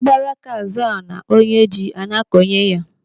Agbara aka ná-azọ ala onye ji a na-akọnye ya.